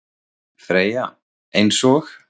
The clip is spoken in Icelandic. Freyja: Eins og?